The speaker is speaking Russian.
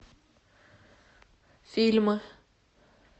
фильмы